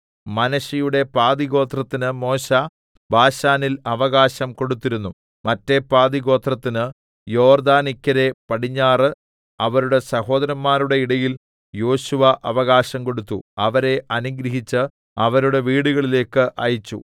മനശ്ശെയുടെ പാതിഗോത്രത്തിന് മോശെ ബാശാനിൽ അവകാശം കൊടുത്തിരുന്നു മറ്റെ പാതിഗോത്രത്തിന് യോർദ്ദാനിക്കരെ പടിഞ്ഞാറ് അവരുടെ സഹോദരന്മാരുടെ ഇടയിൽ യോശുവ അവകാശം കൊടുത്തു അവരെ അനുഗ്രഹിച്ച് അവരുടെ വീടുകളിലേക്ക് അയച്ചു